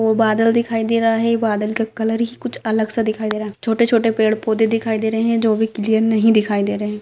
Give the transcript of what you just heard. वो बदल दिखाई दे रहा है वो बदल का कलर ही कुछ अलग स दिखाई दे रहा है छोटे छोटे पेड़ पौदे दिखाई दे रहे है जो बी क्लियर नहीं दिखाई दे रहा है।